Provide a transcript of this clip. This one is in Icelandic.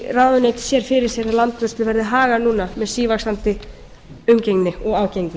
hvernig ráðuneytið sér fyrir sér að landvörslu verði hagað núna með sívaxandi umgengni og ágengni